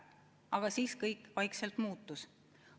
Aga siis kõik vaikselt muutus.